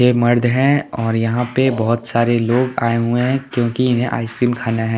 ये मर्द है और यहां पे बहोत सारे लोग आए हुए है क्योंकि इन्हें आइसक्रीम खाना है।